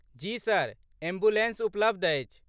जी sir, ambulance उपलब्ध अछि।